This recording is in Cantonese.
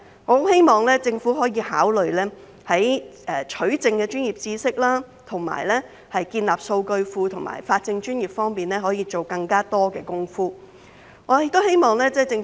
我希望政府可以考慮，在取證的專業知識、建立數據庫和法政專業方面多下工夫。